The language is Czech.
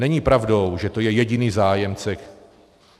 Není pravdou, že to je jediný zájemce.